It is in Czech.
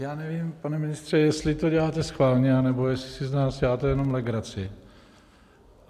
Já nevím, pane ministře, jestli to děláte schválně, anebo jestli si z nás děláte jenom legraci.